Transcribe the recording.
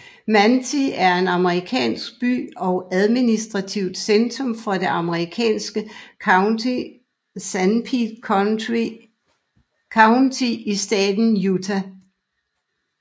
Manti er en amerikansk by og administrativt centrum for det amerikanske county Sanpete County i staten Utah